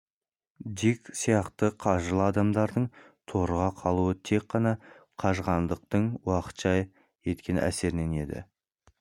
дик сияқты қажырлы адамдардың торыға қалуы тек қана қажығандықтың уақытша еткен әсерінен еді